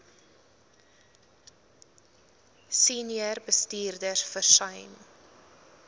senior bestuurders versuim